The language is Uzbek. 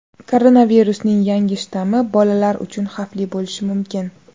Koronavirusning yangi shtammi bolalar uchun xavfli bo‘lishi mumkin.